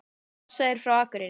Ása er frá Akureyri.